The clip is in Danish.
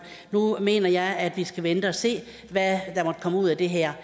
nu mener jeg at vi skal vente og se hvad der måtte komme ud af det her